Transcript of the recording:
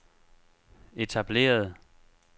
etablerede